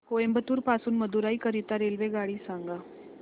कोइंबतूर पासून मदुराई करीता रेल्वेगाडी सांगा